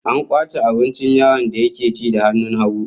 An kwace abincin yaron da yake ci da hannun hagu